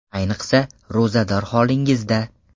Ayniqsa, ro‘zador holingizda.